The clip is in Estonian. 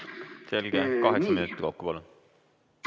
Selge, kaheksa minutit kokku, palun!